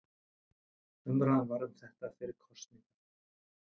Umræða var um þetta fyrir kosningar